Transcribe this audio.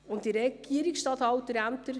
Alle können es nachlesen.